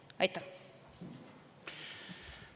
Aitäh!